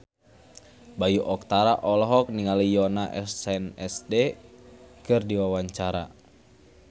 Bayu Octara olohok ningali Yoona SNSD keur diwawancara